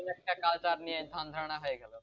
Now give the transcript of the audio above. একটা culture নিয়ে ধ্যান-ধারণা হয়ে গেল,